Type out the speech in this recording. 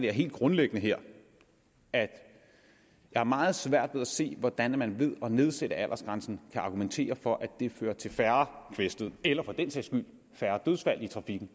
det helt grundlæggende her at jeg har meget svært ved at se hvordan man ved at nedsætte aldersgrænsen kan argumentere for at det fører til færre kvæstede eller for den sags skyld færre dødsfald i trafikken